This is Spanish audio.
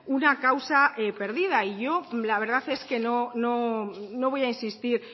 una causa perdida y yo la verdad es que no voy a insistir